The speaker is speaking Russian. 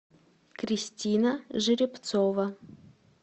кристина жеребцова